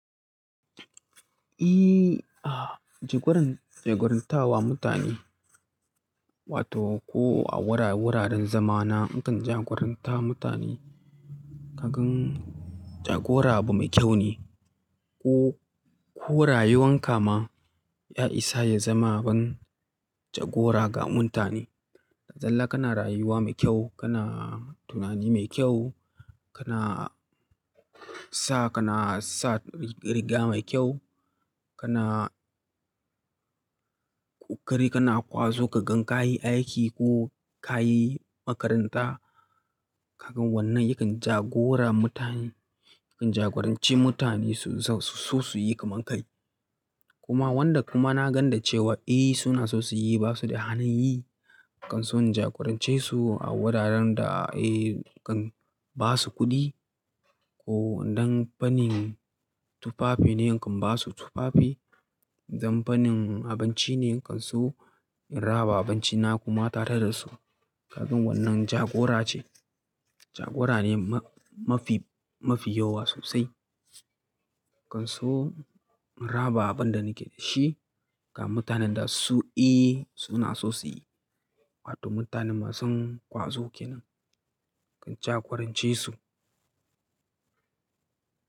Ehh, jagoran, jagorantawa mutane wato ko a wuraren zamana nakan jagoranta mutane. Kakan jagora abu mai kyaune. Ko, ko rayuwankama ya isa ya zama abun jagora ga mutane. Ballantana kana rayuwa mai kyau, kana tunani mai kyau, kana sa, kana sa riga mai kyau, kana ƙoƙari kana ƙwazo kakan kayi aiki ko kayi makaranta. Kagan wannan yakan jagora mutane, yakan jagoranci mutane su, suyi kamar kai. Kuma wanda kuma na ganda cewa eh suna so suyi basuda halinyi, nakanso in jagorancesu a wuraren da eh nikan basu kuɗi. Ko idan fannin tufafine, nakan basu tufafi. Idan fannin abincine, nakan sowo in raba abincina kuma tare dasu. Kakan wannan jagora ce. Jagora ne mafi, mafi yawa sosai. Nakan so in raba abinda nake da shi ga mutanenda su, eh suna so su yi. Wato mutane masun ƙwazo kenan. Ka jagorance su.